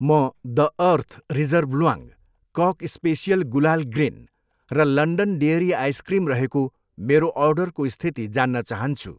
म the earth reserve ल्वाङ, कक स्पेसियल गुलाल ग्रिन र लन्डन डेयरी आइसक्रिम रहेको मेरो अर्डरको स्थिति जान्न चाहन्छु।